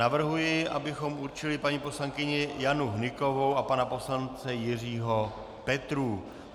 Navrhuji, abychom určili paní poslankyni Janu Hnykovou a pana poslance Jiřího Petrů.